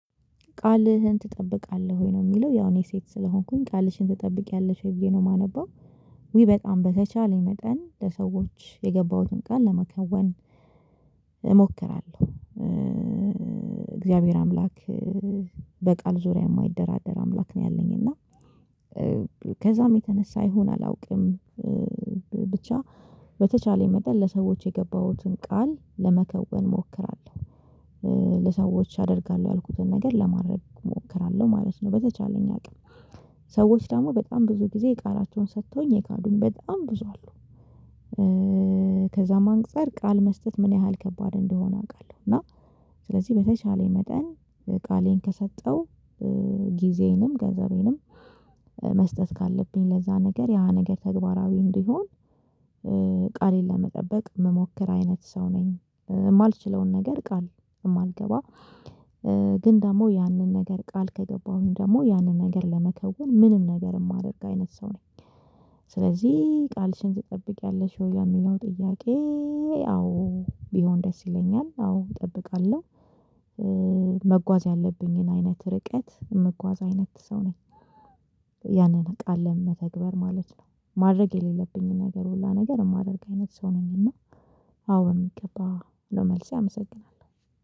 ቃልህን ትጠብቃለህ ወይ? ነው የሚለው ያው እኔ ሴት ስለሆንኩኝ ቃልሽን ትጠብቂያለሽ ወይ ብዬ ነው የማነበው። ውይ በጣም! በተቻለኝ መጠን ለሰዎች የገባሁትን ቃል ለመከወን እሞክራለሁ። እግዚአብሔር አምላክ በቃል ዙሪያ የማይደራደር አምላክ ነው ያለኝ እና ከዛም የተነሳ ይሁን አላውቅም። ብቻ በተቻለኝ መጠን ለሰዎች የገባሁትን ቃል ለመከወን ሞክራለሁ። ለሰዎች አደርጋለሁ ያልኩትን ነገር ለማድረግ እሞክራለሁ ማለት ነው በተቻለኝ አቅም። ሰዎች ደግሞ በጣም ብዙ ጊዜ የቃላቸውን ሰጥተውኝ የካዱኝ በጣም ብዙ አሉ። ከዛም አንፃር ቃል መስጠት ምን ያህል ከባድ እንደሆነ አውቃለሁ። እና ስለዚህ በተቻለኝ መጠን ቃሌን ከሰጠው ጊዜንም ገንዘቤንም መስጠት ካለብኝ ለዛ ነገር ያ ነገር ተግባራዊ እንዲሆን። ቃሌን ለመጠበቅ ምሞከር አይነት ሰው ነኝ። የማልችለውን ነገር ቃል የማልገባ። ግን ደግሞ ያንን ነገር ቃል ከገባሁኝ ደግሞ ያንን ነገር ለመከውን ምንም ነገር የማደርግ አይነት ሰው ነኝ። ስለዚህ ቃልሽን ትጠብቂያለሽ ወይ የሚለው ጥያቄ? አዎ ቢሆን ደስ ይለኛል አዎ እጠብቃለሁ። መጓዝ ያለብኝን አይነት ርቀት ምጓዝ አይነት ሰው ነኝ። ያንን ቃል ለመተግበር ማለት ነው ማድረግ የሌለብኝን ነገር ሁላ ነገር የማደርግ አይነት ሰው ነኝ እና አዎ በሚገባ ነው መልሴ። አመሰግናለሁ